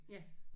Ja